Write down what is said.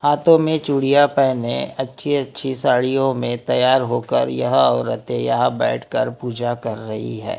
हाथों में चूड़ियां पहने अच्छी अच्छी साड़ियों में तैयार होकर यह औरतें यहां बैठकर पूजा कर रही है।